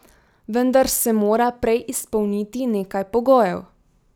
Vendar se mora prej izpolniti nekaj pogojev.